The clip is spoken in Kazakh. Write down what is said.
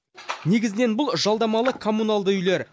негізінен бұл жалдамалы коммуналды үйлер